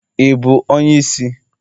Ị bụ onye isi?